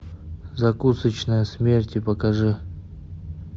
закусочная смерти покажи